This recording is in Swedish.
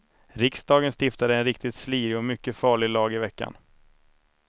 Riksdagen stiftade en riktigt slirig och mycket farlig lag i veckan.